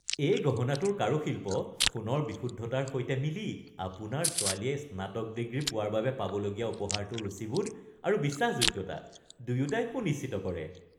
এই গহনাটোৰ কাৰুশিল্প সোণৰ বিশুদ্ধতাৰ সৈতে মিলি আপোনাৰ ছোৱালীয়ে স্নাতক ডিগ্ৰী পোৱাৰ বাবে পাবলগীয়া উপহাৰটোৰ ৰুচিবোধ আৰু বিশ্বাসযোগ্যতা দুয়োটাই সুনিশ্চিত কৰে।